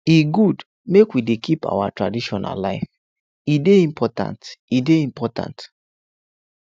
e good make we dey keep our tradition alive e dey important e dey important